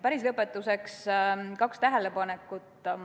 Päris lõpetuseks kaks tähelepanekut.